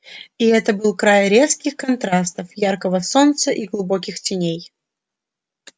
и это был край резких контрастов яркого солнца и глубоких теней